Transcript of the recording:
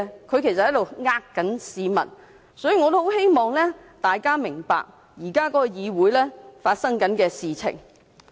其實他們欺騙市民，我也希望大家明白，議會現時正在發生的事情。